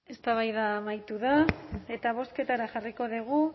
eztabaida amaitu da eta bozketara jarriko dugu